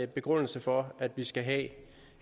begrundelse for at vi skal have